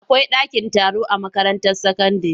Akwai dakin taro a makaranta sakandire.